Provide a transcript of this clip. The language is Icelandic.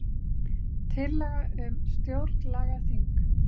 Tillaga um stjórnlagaþing